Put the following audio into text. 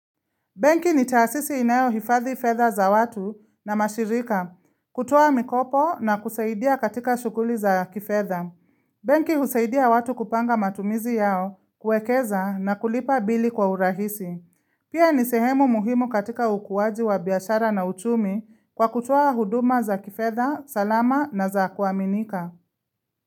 Benki nitaasisi inayo hifadhi fedha za watu na mashirika, kutuoa mikopo na kusaidia katika shughuli za kifedha. Benki husaidia watu kupanga matumizi yao kuekeza na kulipa bili kwa urahisi. Pia nisehemu muhimu katika ukuwaji wa biashara na uchumi kwa kutuoa huduma za kifedha, salama na za kuaminika.